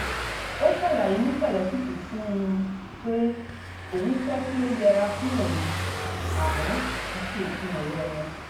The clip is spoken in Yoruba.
ó ṣàlàyé ní pẹ̀lẹ́kùtù fún un pé òun fẹ́ kí ó yẹra fún òun àmọ́ kìí ṣe òpin ọ̀rẹ́ wọn